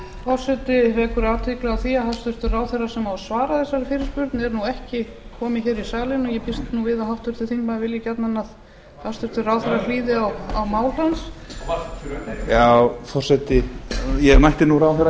forseti vekur athygli á því að hæstvirtur ráðherra sem á að svara þessari fyrirspurn er nú ekki kominn hér í salinn og ég býst nú við að háttvirtur þingmaður vilji gjarnan að hæstvirtur ráðherra hlýði á mál hans já forseti ég mætti nú ráðherra hér